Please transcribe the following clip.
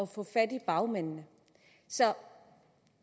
få fat i bagmændene så